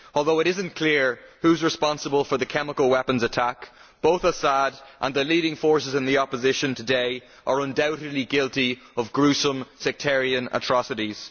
Although it is not clear who is responsible for the chemical weapons attack, both Assad and the leading forces in the opposition today are undoubtedly guilty of gruesome sectarian atrocities.